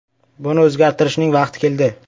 Buni o‘zgartirishning vaqti keldi.